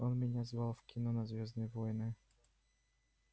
он меня звал в кино на звёздные войны